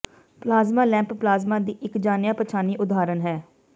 plasma lamp plasma ਦੀ ਇਕ ਜਾਣਿਆ ਪਛਾਣੀ ਉਦਾਹਰਣ ਹੈ